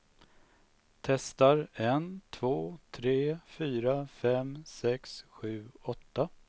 Testar en två tre fyra fem sex sju åtta.